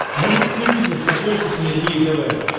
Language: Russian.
можешь включить на смотрешке синергия тв